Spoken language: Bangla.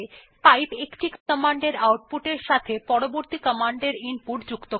পাইপ একটি কমান্ডের আউটপুট এর সাথে পরবর্তী কমান্ডের ইনপুট যুক্ত করে